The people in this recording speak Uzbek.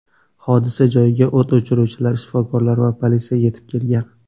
Hodisa joyiga o‘t o‘chiruvchilar, shifokorlar va politsiya yetib kelgan.